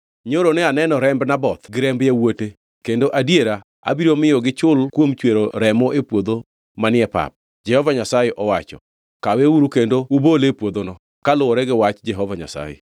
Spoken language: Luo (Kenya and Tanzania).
‘Nyoro ne aneno remb Naboth gi remb yawuote kendo adiera abiro miyo gichul kuom chwero remo e puodho manie pap,’ Jehova Nyasaye owacho. Kaweuru kendo ubole e puodhono kaluwore gi wach Jehova Nyasaye.”